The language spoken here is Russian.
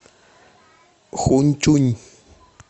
хуньчунь